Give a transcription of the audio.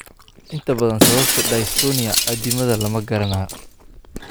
Inta badan, sababta dystonia addimada lama garanayo.